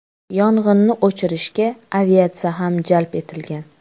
Yong‘inni o‘chirishga aviatsiya ham jalb etilgan.